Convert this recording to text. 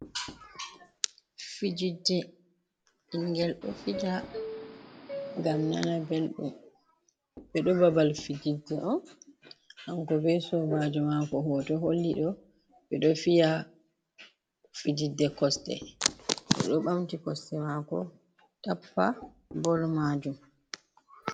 Fijidde, ɓingel ɗo fija ngam nana belɗum. Ɓe ɗo babal fijidde on kan ko be sobajo mako hoto holli ɗo, ɓe ɗo fiya fijidde kosɗe. O ɗo ɓamti kosɗe mako, tappa bol majum.